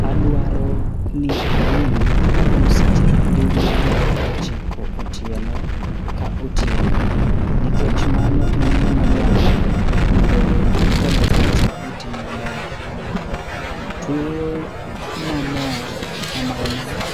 Adwaro ni anindi kuom seche abiriyo nyaka ochiko otieno ka otieno nikech mano en gima dwarore mondo denda kod pacha oti maber. Tueyo mamor kamano